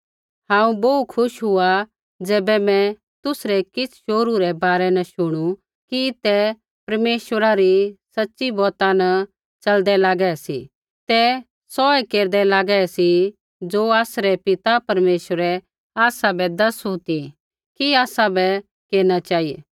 हांऊँ बोहू खुश हुआ ज़ैबै मैं तुसरै किछ़ शोहरू रै बारै न शुणु कि ते परमेश्वरा री सच़ी बौता न च़लदै लागै सी ते सौऐ केरदै लागै सी ज़ो आसरै पिता परमेश्वरै आसाबै दसू ती कि आसाबै केरना चेहिऐ